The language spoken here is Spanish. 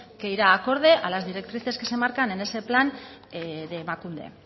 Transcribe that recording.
que ira acorde a las directrices que se marcan en ese plan de emakunde